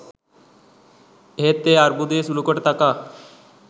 එහෙත් ඒ අර්බුදය සුළුකොට තකා